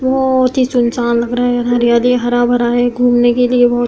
बहोत ही सुनसान लग रहा है। यहाँ पर हरा भरा है। घुमने के लिए बहोत --